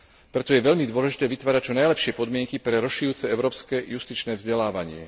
Preto je veľmi dôležité vytvárať čo najlepšie podmienky pre rozširujúce európske justičné vzdelávanie.